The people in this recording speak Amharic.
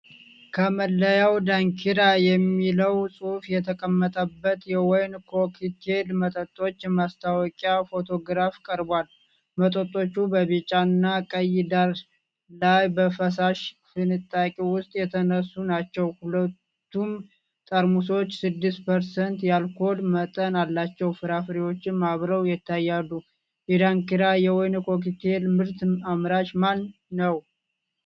ከመለያው 'ዳንኪራ' የሚለው ጽሑፍ የተቀመጠበት የወይን ኮክቴል መጠጦች የማስታወቂያ ፎቶግራፍ ቀርቧል። መጠጦቹ በቢጫ እና ቀይ ዳራ ላይ በፈሳሽ ፍንጣቂ ውስጥ የተነሱ ናቸው። ሁለቱም ጠርሙሶች 6% የአልኮል መጠን አላቸው። ፍራፍሬዎችም አብረው ይታያሉ። የዳንኪራ የወይን ኮክቴል ምርት አምራች ማን ነው?